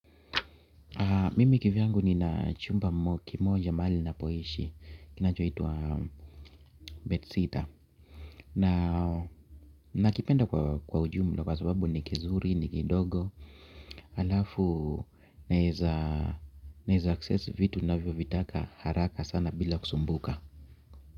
Mimi kivyangu nina chumba kimoja mahali ninapoeshi. Kinacho itwa Bed Sitter Na nakipenda kwa ujumla kwa sababu ni kizuri ni kidogo alafu naeza access vitu navyo vitaka haraka sana bila kusumbuka.